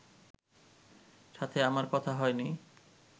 সাথে আমার কথা হয়নি